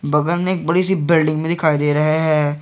बगल में एक बड़ी सी बिल्डिंग भी दिखाई दे रहे हैं।